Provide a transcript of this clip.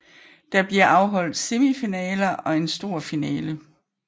Der bliver afholdt semifinaler og en stor finale